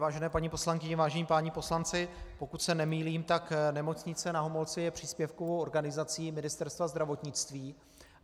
Vážené paní poslankyně, vážení páni poslanci, pokud se nemýlím, tak Nemocnice Na Homolce je příspěvkovou organizací Ministerstva zdravotnictví.